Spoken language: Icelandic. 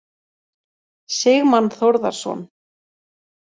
Sigmann Þórðarson.